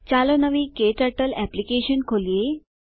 ચાલો નવી ક્ટર્ટલ એપ્લીકેશન ખોલીએ